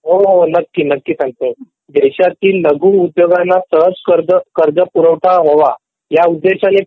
हो हो नक्की सांगतो देशात लघु उद्योगांना सहज कर्ज पुरवठा वाहवा ह्या उद्देश्याने